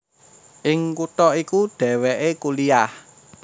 Ing kutha iku dhèwèké kuliah